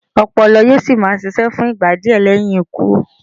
Ọpọlọ yóò sì máa ṣiṣẹ́ fún ìgbà díẹ̀ lẹ́yìn ikú.